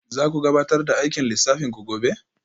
Za ku gabatar da aikin lissafin ku gobe?